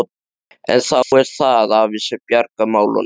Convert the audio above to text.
En þá er það afi sem bjargar málunum.